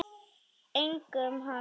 Einkum hana.